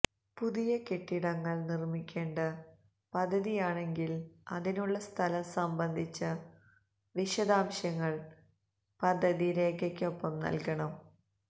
പുതിയ കെട്ടിടങ്ങൾ നിർമിക്കേണ്ട പദ്ധതിയാണെങ്കിൽ അതിനുള്ള സ്ഥലം സംബന്ധിച്ച വിശദാംശങ്ങൾ പദ്ധതി രേഖയ്ക്കൊപ്പം നൽകണം